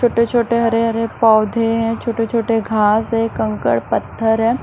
छोटे-छोटे हरे-हरे पौधे हैं छोटे-छोटे घास है कंकड़ पत्थर है।